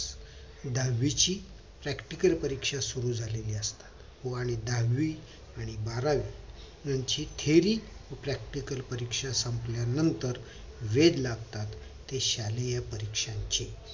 दहावीची practical परीक्षा सुरु झालेली असते हो आणि दहावी आणि बारावी यांची theory व practical परीक्षा संपल्या नंतर वेद लागतात ते शालेय परीक्षांचे